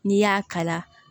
N'i y'a kala